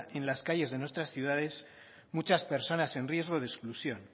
en las calles de nuestras ciudades muchas personas en riesgo de exclusión